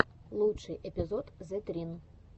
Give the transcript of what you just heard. лучший эпизод зэтрин